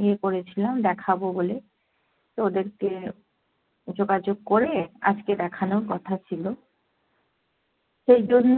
ইয়ে করেছিলাম দেখাবো বলে, তো ওদেরকে যোগাযোগ করে আজকে দেখানোর কথা ছিলো। সেই জন্য